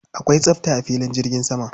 Akwai tsafta a filin jirgi sama.